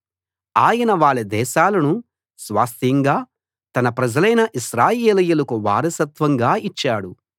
ఆయన వాళ్ళ దేశాలను స్వాస్థ్యంగా తన ప్రజలైన ఇశ్రాయేలీయులకు వారసత్వంగా ఇచ్చాడు